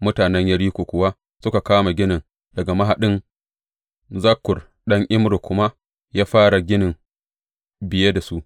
Mutanen Yeriko kuwa suka kama ginin daga mahaɗin, Zakkur ɗan Imri kuma ya fara ginin biye da su.